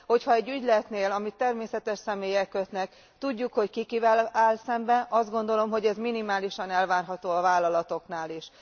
Hogyha egy ügyletnél, amit természetes személyek kötnek, tudjuk, hogy ki kivel áll szemben, azt gondolom, hogy ez minimálisan elvárható a vállalatoknál is.